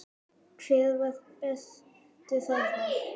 Hver var bestur þarna?